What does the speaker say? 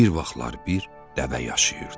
Bir vaxtlar bir dəvə yaşayırdı.